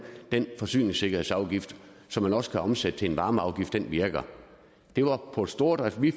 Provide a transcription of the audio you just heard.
den forsyningssikkerhedsafgift som man også kan omsætte til en varmeafgift virker det var på stordrift vi